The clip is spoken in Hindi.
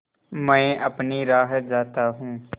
मैं अपनी राह जाता हूँ